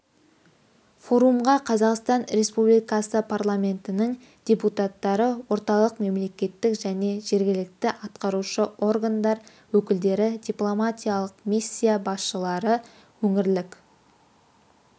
форумға қазақстан республикасы парламентінің депутаттары орталық мемлекеттік және жергілікті атқарушы органдар өкілдері дипломатиялық миссия басшылары өңірлік